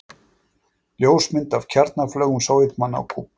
Ljósmynd af kjarnaflaugum Sovétmanna á Kúbu.